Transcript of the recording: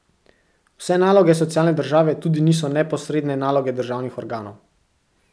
Vse naloge socialne države tudi niso neposredne naloge državnih organov.